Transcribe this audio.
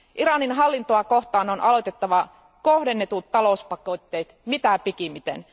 Iranin hallintoa kohtaan on aloitettava kohdennetut talouspakotteet mitä pikimmiten.